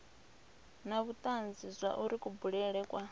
na vhutanzi zwauri kubulele kwa